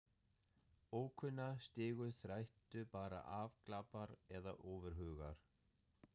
Ókunna stigu þræddu bara afglapar eða ofurhugar.